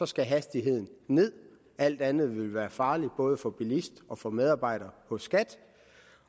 skal hastigheden nederst alt andet ville være farligt både for bilisten og for medarbejderen hos skat